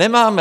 Nemáme.